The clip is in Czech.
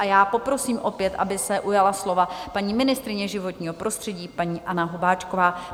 A já poprosím opět, aby se ujala slova paní ministryně životního prostředí, paní Anna Hubáčková.